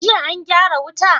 Jiya an gyara wuta?